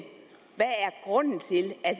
grunden til at